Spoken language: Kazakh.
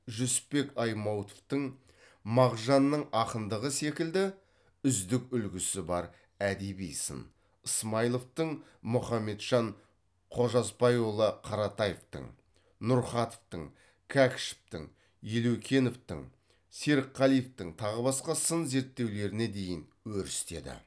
жүсіпбек аймауытовтың мағжанның ақындығы секілді үздік үлгісі бар әдеби сын ысмайыловтың мұхамеджан қожасбайұлы қаратаевтың нұрқатовтың кәкішевтің елеукеновтың серікқалиевтің тағы басқа сын зерттеулеріне дейін өрістеді